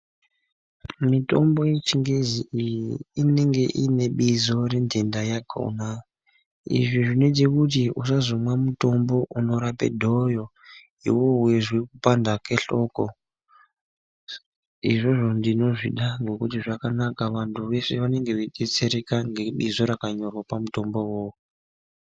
Mitombo yeChiNgezi iyi inenge ine bizo rendenda yakona. Izvi zvinoite kuti usazomwa mutombo unorape dhoyo, iwewe weizwe kupanda kwehloko. Izvozvo ndinozvida ngokuti zvakanaka vanhu vanenge veidetsereka ngebizo rakanyorwa pamutombo iwowowo.